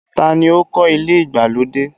Taa ni ó kọ́ ilé ìgbàlódé?